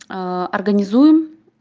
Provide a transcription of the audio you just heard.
организуем